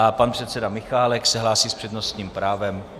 A pan předseda Michálek se hlásí s přednostním právem.